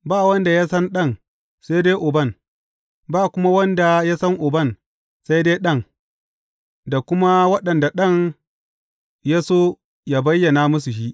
Ba wanda ya san Ɗan sai dai Uban, ba kuma wanda ya san Uban, sai dai Ɗan da kuma waɗanda Ɗan ya so yă bayyana musu shi.